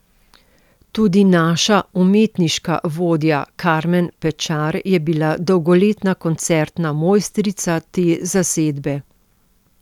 Tudi naša umetniška vodja Karmen Pečar je bila dolgoletna koncertna mojstrica te zasedbe.